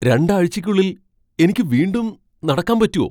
രണ്ടാഴ്ചയ്ക്കുള്ളിൽ എനിക്ക് വീണ്ടും നടക്കാൻ പറ്റോ ?